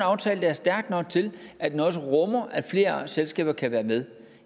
aftale der er stærk nok til at den også rummer at flere selskaber kan være med